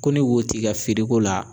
Ko ni wo t'i ka firiko la